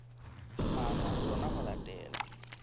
maano a tsona ho latela